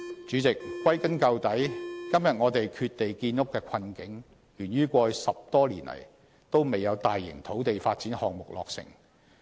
主席，歸根究底，今天我們缺地建屋的困境，源於過去10多年來都沒有大型土地發展項目落成。